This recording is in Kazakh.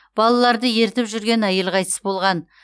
балаларды ертіп жүрген әйел қайтыс болған